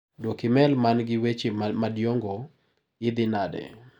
Duok imel man gi weche madiongo gi, idhi nade?